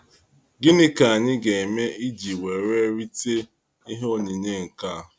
Gịnị k'anyi ga- eme iji were rite ihe onyinyé nkea?